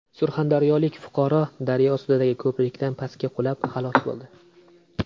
Surxondaryolik fuqaro daryo ustidagi ko‘prikdan pastga qulab, halok bo‘ldi.